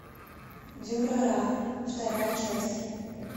дюрара вторая часть